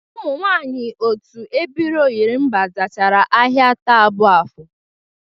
Ụmụ nwaanyị otu ebiri ọnyịrịmba zarachara ahịa taa bụ afọ